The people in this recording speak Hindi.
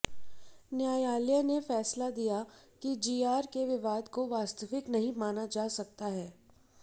न्यायालय ने फैसला दिया कि जीआर के विवाद को वास्तविक नहीं माना जा सकता है